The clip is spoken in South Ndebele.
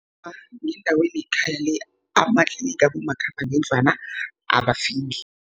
Ngendaweni yekhaya le, amatlinigi abomakhambangendlwana abafiki.